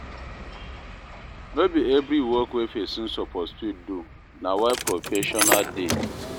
no bi evri work wey pesin soppose fit do, na why professional dey